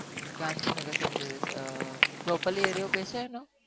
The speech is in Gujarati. Gandhinagar sem jeviys properly area કહસો